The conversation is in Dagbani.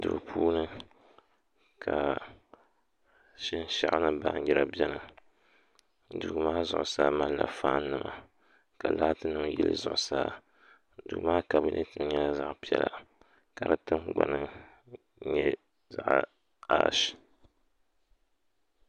Duu puuni ka shinshaɣu ni baanjira biɛni duu maa zuɣusaa malila faan nima ka laati nim yili zuɣusaa duu maa kabinɛt nyɛla zaɣ piɛla ka di tingbani nyɛ ash